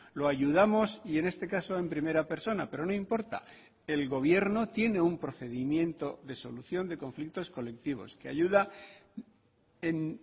lo ayudamos y en este caso en primera persona pero no importa el gobierno tiene un procedimiento de solución de conflictos colectivos que ayuda en